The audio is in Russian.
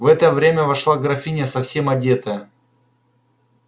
в это время вошла графиня совсем одетая